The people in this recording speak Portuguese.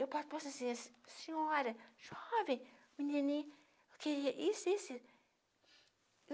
Eu po posso dizer, senhora, jovem, menininha, que, isso, isso e isso